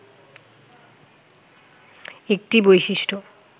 একটি বৈশিষ্ট্য